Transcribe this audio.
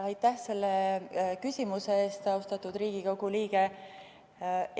Aitäh selle küsimuse eest, austatud Riigikogu liige!